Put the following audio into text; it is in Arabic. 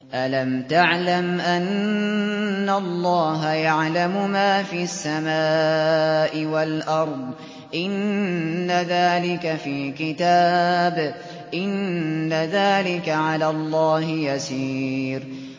أَلَمْ تَعْلَمْ أَنَّ اللَّهَ يَعْلَمُ مَا فِي السَّمَاءِ وَالْأَرْضِ ۗ إِنَّ ذَٰلِكَ فِي كِتَابٍ ۚ إِنَّ ذَٰلِكَ عَلَى اللَّهِ يَسِيرٌ